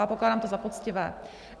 A pokládám to za poctivé.